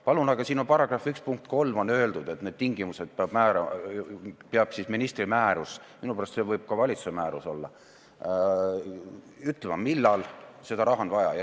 Palun, aga siin § 1 punktis 3 on öeldud, et need tingimused kehtestab ministri määrus – minu pärast võib see olla ka valitsuse määrus –, mis ütleb, millal seda raha on vaja.